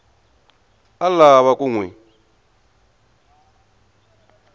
a lava ku n wi